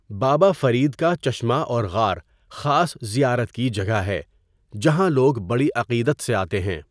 بابا فرید کا چشمہ اور غار خاص زیارت کی جگہ ہے جہاں لوگ بڑی عقیدت سے آتے ہیں.